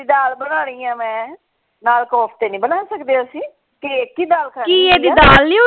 ਦਾਲ ਬਨਾਨੀ ਹੈ ਮੈਂ ਨਾਲ ਕੋਫਤੇ ਨਹੀਂ ਬਣਾ ਸਕਦੇ ਅਸੀਂ ਤੇ ਇਕ ਹੀ ਦਾਲ ਖਾਨੀ ਹੈ